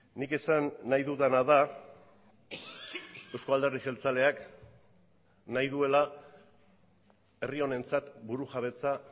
nik esan nahi dudana da euzko alderdi jeltzaleak nahi duela herri honentzat burujabetza